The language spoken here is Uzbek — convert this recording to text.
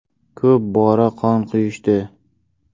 Ko‘p bora qon quyishdi.